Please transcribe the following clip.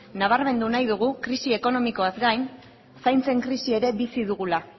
nabarmendu nahi dugu krisi ekonomikoaz gain zaintzen krisi ere bizi dugula